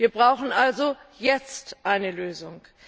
Wir brauchen also jetzt eine Lösung.